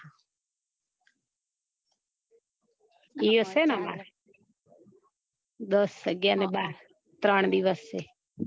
ઈયો સેને અમારે દસ અગિયાર ને બાર ત્રણ દિવસ ની